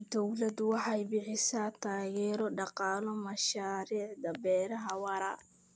Dawladdu waxay bixisaa taageero dhaqaale mashaariicda beeraha waara.